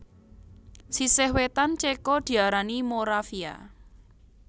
Sisih wétan Céko diarani Moravia